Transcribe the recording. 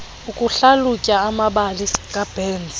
ukuhlalutya amabali kaburns